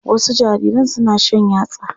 Wasu jariran suna shan yatsa.